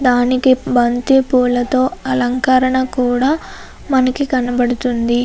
దానికి బంతిపూలతో అలంకరణ కూడ మనకి కనపడుతుంది.